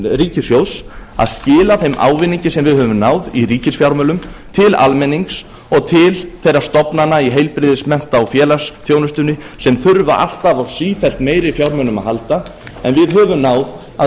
ríkissjóðs að skila þeim ávinningi sem við höfum náð í ríkisfjármálum til almennings og til þeirra stofnana í heilbrigðis mennta og félagsþjónustunni sem þurfa alltaf á sífellt meiri fjármunum að halda en við höfum náð að